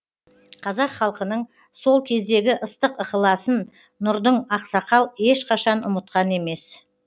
қазақ халқының сол кездегі ыстық ықыласын нұрдын ақсақал ешқашан ұмытқан емес